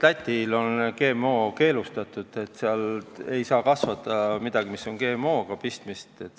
Lätis on GMO-d keelustatud, seal ei saa kasvada midagi, millel on GMO-ga pistmist.